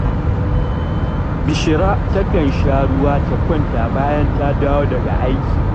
Bishira takan sha ruwa ta kwanta bayan ta dawo daga aiki